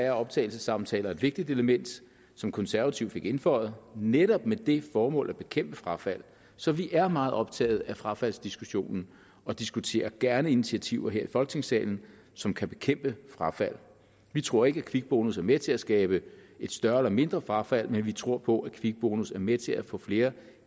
er optagelsessamtaler et vigtigt element som konservative fik indføjet netop med det formål at bekæmpe frafald så vi er meget optaget af frafaldsdiskussionen og diskuterer gerne initiativer her i folketingssalen som kan bekæmpe frafald vi tror ikke kvikbonus er med til at skabe et større eller mindre frafald men vi tror på at kvikbonus er med til at få flere